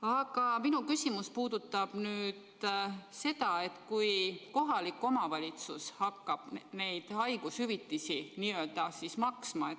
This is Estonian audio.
Aga minu küsimus puudutab mõtet, et kohalik omavalitsus hakkab neid haigushüvitisi maksma.